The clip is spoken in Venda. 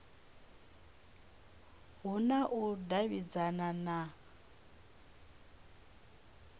hu na u davhidzana na